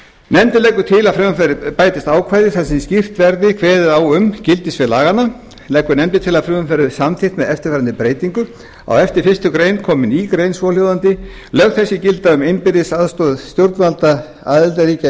nefndin leggur til að við frumvarpið bætist ákvæði þar sem skýrt verði kveðið á um gildissvið laganna leggur nefndin til að frumvarpið verði samþykkt með eftirfarandi breytingu á eftir fyrstu grein komi ný grein svohljóðandi lög þessi gilda um innbyrðis aðstoð stjórnvalda aðildarríkja e